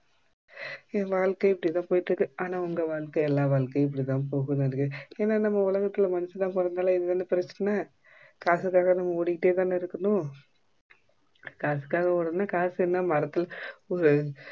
என் வாழ்க்கை இப்டிதா போயிடு இருக்கு ஆனா உங்க வாழ்க்கை எல்லா வாழ்க்கையும் இப்டி தான் ஏன்னா நம்ம உலகத்துல மனுஷனா பொறந்தாலே இதுதானா பிரச்சன காசுக்காக நாம்ம ஓடிட்டேதானே இருக்கணும் காசுக்காக ஓடணும்னா காசு என்ன மரத்துல